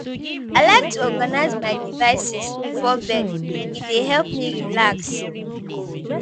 I like to organize my devices before bed; e dey help me relax.